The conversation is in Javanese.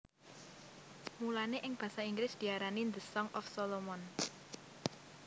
Mulané ing basa Inggris diarani The Song of Solomon